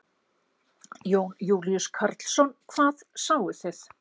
Jón Júlíus Karlsson: Hvað sáuð þið?